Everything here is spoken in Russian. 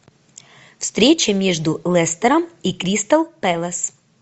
встреча между лестером и кристал пэлас